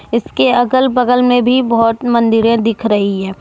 इसके अगल बगल में भी बहोत मंदिरे दिख रही है।